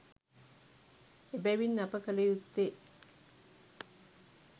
එබැවින් අප කළ යුත්තේ